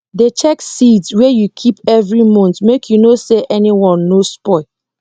dey check seeds wey you keep every month make you know say anyone no spoil